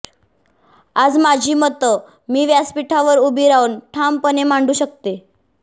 आज माझी मतं मी व्यासपीठावर उभी राहून ठामपणे मांडू शकते